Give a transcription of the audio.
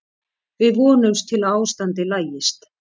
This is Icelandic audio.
Við vonumst til að ástandið lagist.